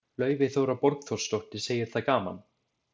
Laufey Þóra Borgþórsdóttir, segir það gaman.